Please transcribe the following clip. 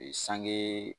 sange